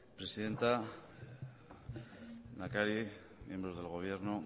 presidenta lehendakari miembros del gobierno